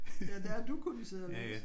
Ja der har du kunne sidde og læse